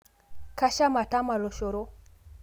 Kasham atama lochoro